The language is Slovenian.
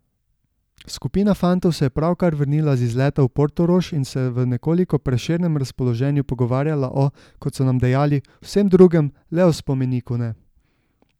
Skupina fantov se je pravkar vrnila z izleta v Portorož in se v nekoliko prešernem razpoloženju pogovarjala o, kot so nam dejali, vsem drugem, le o spomeniku ne.